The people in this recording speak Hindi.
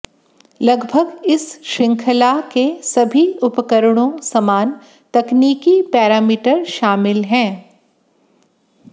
लगभग इस श्रृंखला के सभी उपकरणों समान तकनीकी पैरामीटर शामिल हैं